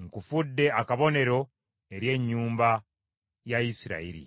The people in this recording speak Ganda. nkufudde akabonero eri ennyumba ya Isirayiri.”